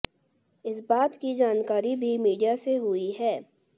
इस बात की जानकारी भी मीडिया से हुई है